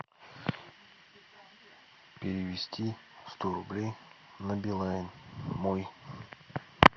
перевести сто рублей на билайн мой